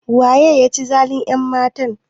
Waye ya ci zalin ƴanmatan?